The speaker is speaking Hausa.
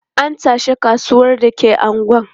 An tashi kasuwan da ke unguwar.